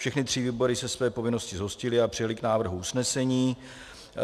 Všechny tři výbory se své povinnosti zhostily a přijaly k návrhu usnesení.